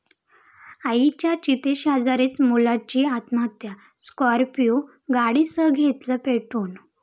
आईच्या चितेशेजारीच मुलाची आत्महत्या, स्कॉर्पिओ गाडीसह घेतलं पेटवून!